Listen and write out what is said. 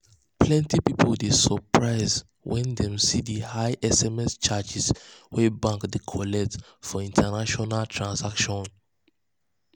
plenty people dey surprised um when dem see the high sms charges wey bank dey collect for international um transactions. um